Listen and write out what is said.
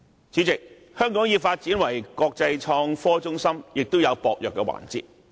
主席，在發展成為國際創科中心方面，香港亦有薄弱的環節。